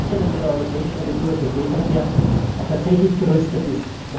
Sind Sie sicher, dass Ihre Europäische Agentur für Seeverkehr auch tatsächlich gerüstet ist?